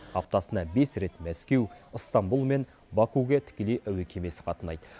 аптасына бес рет мәскеу ыстамбұл мен бакуге тікелей әуе кемесі қатынайды